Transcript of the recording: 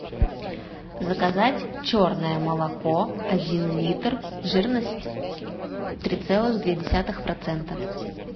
заказать черное молоко один литр жирность три целых две десятых процента